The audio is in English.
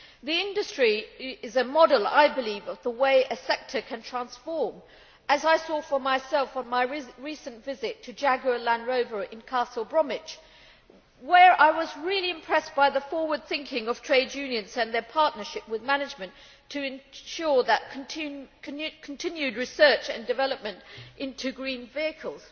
The industry is a model, I believe, of the way a sector can transform itself, as I saw for myself on my recent visit to Jaguar Land Rover in Castle Bromwich, where I was really impressed by the forward thinking of trade unions and their partnership with management to ensure continued research and development into green vehicles.